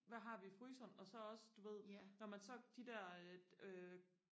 hvad har vi i fryseren og så også du ved når man så de der øh øh